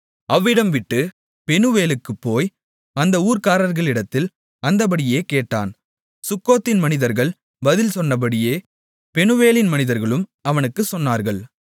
அவ்விடம் விட்டு பெனூவேலுக்குப் போய் அந்த ஊர்க்காரர்களிடத்தில் அந்தப்படியே கேட்டான் சுக்கோத்தின் மனிதர்கள் பதில் சொன்னபடியே பெனூவேலின் மனிதர்களும் அவனுக்குச் சொன்னார்கள்